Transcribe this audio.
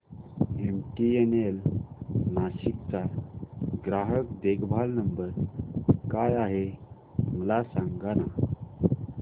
MTNL Nashik चा ग्राहक देखभाल नंबर काय आहे मला सांगाना